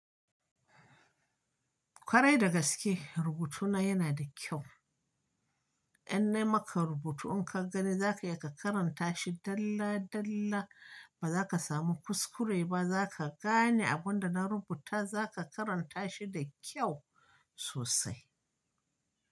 Kwarai da gaske, rubutuna yana da kyau. In na yi maka rubutu in ka gani za ka iya ka karanta shi dalla dalla, ba za ka samu kuskure ba. Za ka gane abun da na rubuta, za ka karanta shi da kyau sosai.